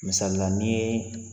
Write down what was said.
Misali la ni